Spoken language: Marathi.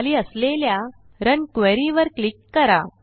खाली असलेल्या रन क्वेरी वर क्लिक करा